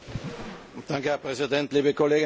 Herr Präsident, liebe Kolleginnen und Kollegen!